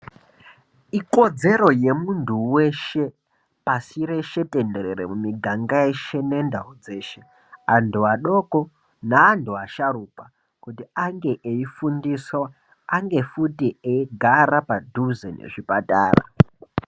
Ikodzero yemuntu weshe pashi reshe tenderere mumiganga yeshe nendau dzeshe antu adoko neantu asharuka kuti ange eifundiswa, ange futi eigara paduze nezvipatara.